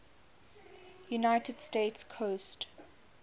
united states coast